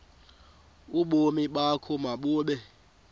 ubomi bakho mabube